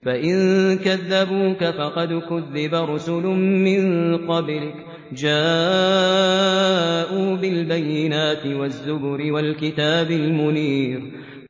فَإِن كَذَّبُوكَ فَقَدْ كُذِّبَ رُسُلٌ مِّن قَبْلِكَ جَاءُوا بِالْبَيِّنَاتِ وَالزُّبُرِ وَالْكِتَابِ الْمُنِيرِ